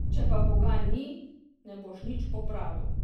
Če pa boga ni, ne boš nič popravil.